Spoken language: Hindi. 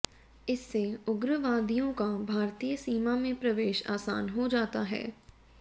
इससे उग्रवादियों का भारतीय सीमा में प्रवेश आसान हो जाता है